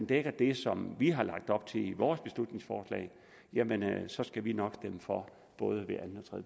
dækker det som vi har lagt op til med vores beslutningsforslag så skal vi nok stemme for både ved anden og